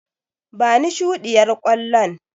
Bani shuɗiyar ƙwallon.